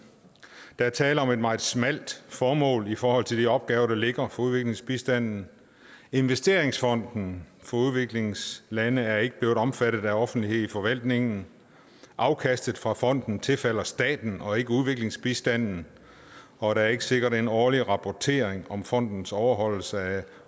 der er tale om et meget smalt formål i forhold til de opgaver der ligger for udviklingsbistanden investeringsfonden for udviklingslande er ikke blevet omfattet af offentlighed i forvaltningen afkastet fra fonden tilfalder staten og ikke udviklingsbistanden og der er ikke sikret en årlig rapportering om fondens overholdelse af